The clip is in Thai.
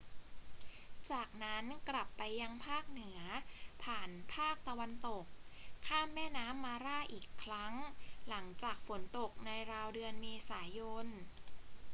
จากนั้นกลับไปยังภาคเหนือผ่านภาคตะวันตก ข้ามแม่น้ำมาร่าอีกครั้ง หลังจากฝนตกในราวเดือนเมษายน